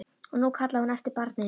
Og nú kallaði hún eftir barni mínu.